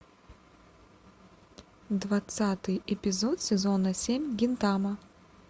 двадцатый эпизод сезона семь гинтама